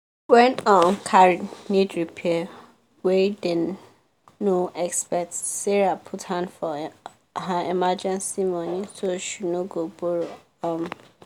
wen um car need repair wey dem no expect sarah put hand for her emergency money so she no go borrow um